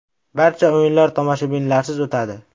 Barcha o‘yinlar tomoshabinlarsiz o‘tadi.